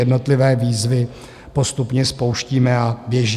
Jednotlivé výzvy postupně spouštíme a běží.